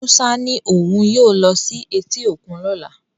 Musa ní òun yóò lọ sí etí òkun lọ́la